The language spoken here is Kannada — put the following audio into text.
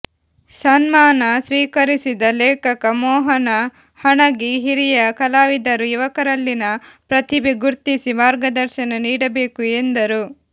ಸನ್ಮಾನ ಸ್ವೀಕರಿಸಿದ ಲೇಖಕ ಮೋಹನ ಹಣಗಿ ಹಿರಿಯ ಕಲಾವಿದರು ಯುವಕರಲ್ಲಿನ ಪ್ರತಿಭೆ ಗುರ್ತಿಸಿ ಮಾರ್ಗದರ್ಶನ ನೀಡಬೇಕು ಎಂದರು